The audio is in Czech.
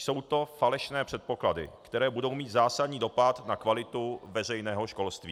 Jsou to falešné předpoklady, které budou mít zásadní dopad na kvalitu veřejného školství.